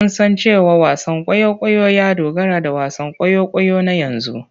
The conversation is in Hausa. Mun san cewa wasan kwaikwayo ya dogara da wasan kwaikwayo na yanzu.